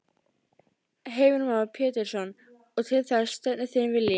Heimir Már Pétursson: Og til þess stefnir þinn vilji?